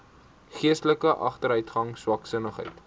geestelike agteruitgang swaksinnigheid